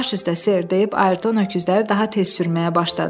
Baş üstə, ser deyib Ayrton öküzləri daha tez sürməyə başladı.